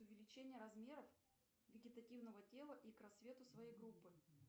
увеличение размеров вегетативного тела и к рассвету своей группы